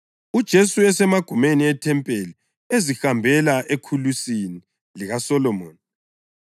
uJesu esemagumeni ethempeli ezihambela eKhulusini likaSolomoni.